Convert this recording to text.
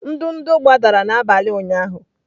ndụdụ gbadara n'abalị ụnyahụ.